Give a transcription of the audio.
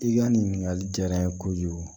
I ka nin ɲininkali diyara n ye kojugu